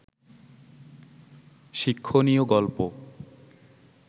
শিক্ষণীয় গল্প